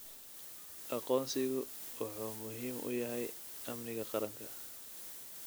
Aqoonsigu wuxuu muhiim u yahay amniga qaranka.